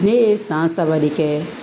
Ne ye san saba de kɛ